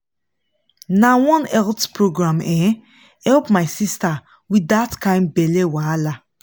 na one health program um help my sister with that kind belly wahala.